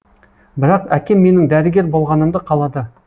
бірақ әкем менің дәрігер болғанымды қалады